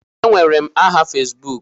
Enwere m aha Fesbuku.